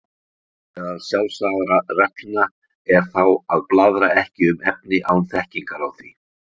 Meðal sjálfsagðra reglna er þá að blaðra ekki um efni án þekkingar á því.